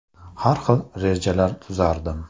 Har xil rejalar tuzardim.